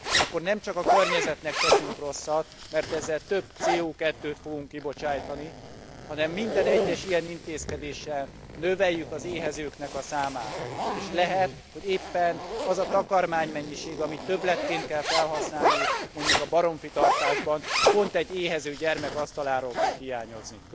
akkor nem csak a környezetnek teszünk rosszat, mert ezzel több CO2 t fogunk kibocsátani, hanem minden egyes ilyen intézkedéssel növeljük az éhezőknek a számát, és lehet, hogy éppen az a takarmánymennyiség, amit többletként kell felhasználni mondjuk a baromfitartásban pont egy éhező gyermek asztaláról fog hiányozni.